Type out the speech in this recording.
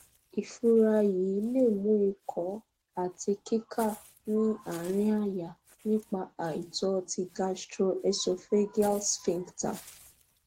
ìfúra yìí lè mú ìkó àti kíká ní àárín àyà nípa àìtọ ti gastroesophageal sphincter